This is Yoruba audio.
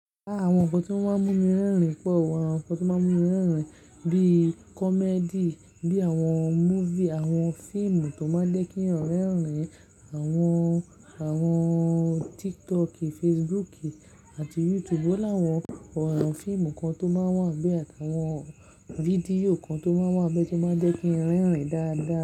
Áàwọn nǹkan tó máa ń mú mi rẹ́rìn-ín pọ̀, àwọn nǹkan tó máa ń mú mi rẹ́rìn-ín bí i comedy, bí i àwọn movie, àwọn fíìmù tó máa ń jẹ́ kí n rẹ́rìn-ín, àwọn, àwọn TikTok, Facebook àti YouTube ó láwọn. Ọ̀ràn fíìmù kan tó máa wà n be àti àwọn fídíò kan tó máa wà bẹ tó máa ń jẹ́ kí n rẹ́rìn-ín dáadáa.